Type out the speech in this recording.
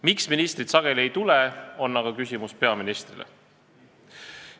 Miks ministrid sageli ei tule, on aga küsimus peaministrile.